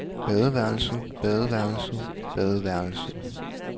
badeværelset badeværelset badeværelset